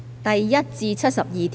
第1至72條。